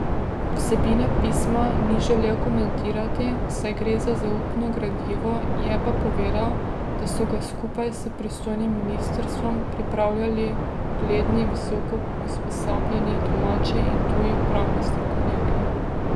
Vsebine pisma ni želel komentirati, saj gre za zaupno gradivo, je pa povedal, da so ga skupaj s pristojnim ministrstvom pripravljali ugledni visoko usposobljeni domači in tuji pravni strokovnjaki.